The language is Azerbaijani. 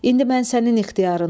İndi mən sənin ixtiyarındayam.